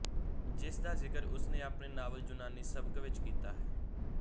ਜਿਸ ਦਾ ਜ਼ਿਕਰ ਉਸ ਨੇ ਆਪਣੇ ਨਾਵਲ ਯੂਨਾਨੀ ਸਬਕ ਵਿੱਚ ਕੀਤਾ ਹੈ